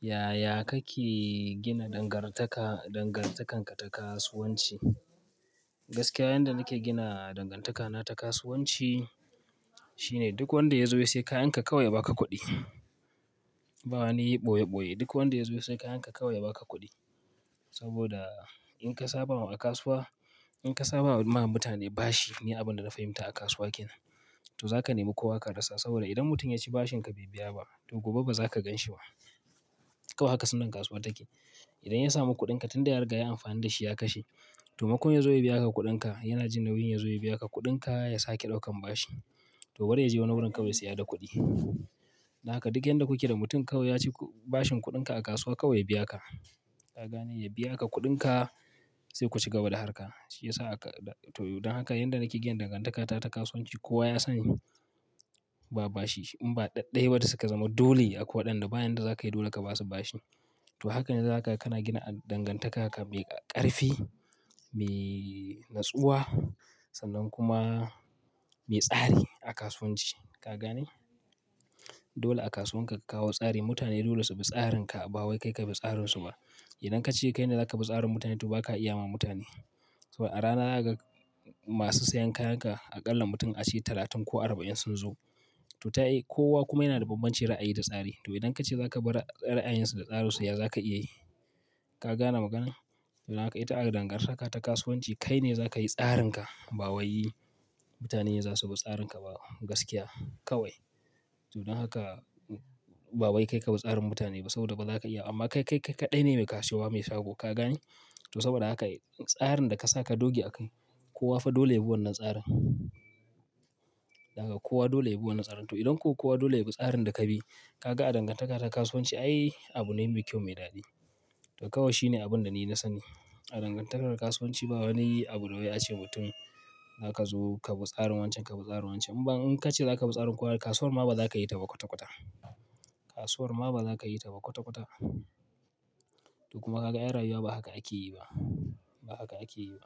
Yaya kake gina dangantaka, dangantakanka ta kasuwanci? Gaskiya, yanda nake gina dangantakana ta kasuwanci shine duk wanda ya zo ya sai kayanka kawai ya baka kuɗi. Ba wani yi ɓoye ɓoye. Duk wanda ya zo sai kayanka kawai ya baka kuɗi. Saboda in ka saba wa a kasuwa, in ka saba wa ma mutane bashi ni abin da na fahimta a kasuwa kenan. To za ka nemi kowa ka rasa. Saboda idan mutum ya ci bashinka bai biya ba, to gobe ba za ka ganshi ba. Kawai haka sunnan kasuwa take. Idan ya samu kuɗinka tunda ya riga ya yi amfani da shi ya kashe. To maimakon ya zo ya biya ka kuɗinka, yana jin nauyin ya zo ya biya ka kuɗinka ya sake ɗaukan bashi. To bari ya je wani wurin kawai ya siya da kuɗi. Dan haka duk yanda kuke da mutum kawai ya ci bashin kuɗinka a kasuwa kawai ya biya ka. Ka gane? Ya biya ka kuɗinka sai ku cigaba da harka. Shi yasa aka, to don haka yanda nake gina dangantakata ta kasuwanci kowa ya sani, ba bashi. In ba ɗaɗɗaya watan suka zama dole akwai waɗanda bayan da za ka yi dole ka ba su bashi. To haka ne za ka, kana gina dangantaka ka mai ƙarfi, mai natsuwa sannan kuma mai tsari a kasuwanci. Ka gane? Dole a kasuwan ka ka kawo tsari. Mutane dole su bi tsarinka ba wai kai ka bi tsararsu ba. Idan ka ce kai ne za ka bi tsarin mutane to ba ka iya ma mutane. Saboda a rana zakaga masu sayan kayanka aƙalla mutum ace talatin ko arba'in sun zo. To ta yiwu, kowa kuma yana da bambancin ra'ayi da tsari. To idan ka ce za ka bi ra'ayinsu da tsararsu ya za ka iya yi? Ka gane maganar? Don haka ita hada dangantaka ta kasuwanci kai ne za ka yi tsarinka. Ba wai mutane za su bi tsarinka ba. Gaskiya kawai. To don haka ba wai kai ka bi tsarin mutane ba saboda ba za ka iya. Amma kai, kai kaɗai ne mai kasuwa mai shago. Ka gane? To saboda haka tsarin da ka sa ka doge a kai. Kowa fa dole yabi wannan tsarin. Dan haka kowa dole yabi wannan tsarin. To idan ko kowa dole ya bi tsarin da ka bi, ka ga a dangantaka ta kasuwanci, ai abune mai kyau mai daɗi. To kawai shine abin da ni na sani. A dangantakar kasuwanci ba wani abu na wai ace wa mutum, "Za ka zo ka bi tsarin wancan, ka bi tsarin wancan." In ba in ka ce za ka bi tsarin kowa, kasuwar ma ba za ka yi ta ba kwata kwata. Kasuwar ma ba za ka yi ta ba kwata kwata. To kuma ka ga ai rayuwa ba haka ake yi ba. Ba haka ake yi ba.